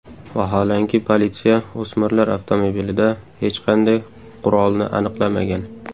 Vaholanki, politsiya o‘smirlar avtomobilida hech qanday qurolni aniqlamagan.